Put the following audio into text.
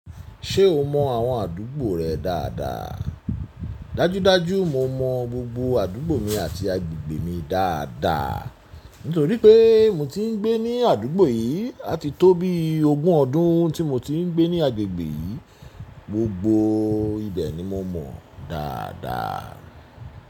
Ṣé o mọ àwọn àdúgbò rẹ dáadáa? Dájúdájú mo mọ gbogbo àdúgbò mi àti agbègbè mi dáadáa, nítorí pé mo ti ń gbé ní àdúgbò yìí àti tó bí ogún ọdún tí mo ti ń gbé ní agbègbè yìí, gbogbo ibẹ̀ ni mo mọ dáadáa.